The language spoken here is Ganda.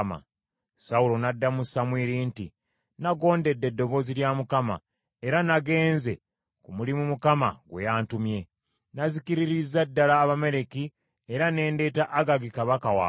Sawulo n’addamu Samwiri nti, “Nagondedde eddoboozi lya Mukama , era nagenze ku mulimu Mukama gwe yantumye. Nazikiririzza ddala Abamaleki era ne ndeeta Agagi kabaka waabwe.